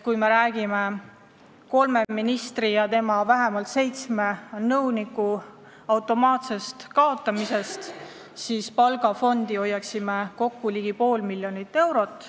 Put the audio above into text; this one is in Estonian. Kui me kaotame kolme ministri ja vähemalt seitsme nõuniku kohad, siis hoiaksime palgafondi kokku ligi pool miljonit eurot.